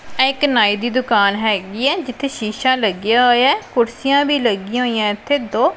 ਏਹ ਇੱਕ ਨਾਈ ਦੀ ਦੁਕਾਨ ਹੈਗੀ ਹੈ ਜਿੱਥੇ ਸ਼ੀਸ਼ਾ ਲੱਗੇਯਾ ਹੋਇਆ ਹੈ ਕੁਰਸੀਆਂ ਵੀ ਲੱਗਿਆਂ ਹੋਈਆਂ ਏੱਥੇ ਦੋ।